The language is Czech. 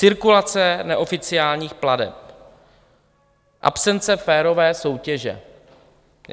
Cirkulace neoficiálních plateb, absence férové soutěže.